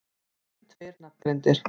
Síðustu tveir nafngreindir